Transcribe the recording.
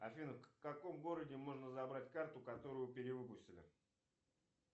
афина в каком городе можно забрать карту которую перевыпустили